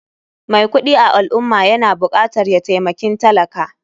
Mai kuɗi a al ummah yana bukatar ya taimakin talaka.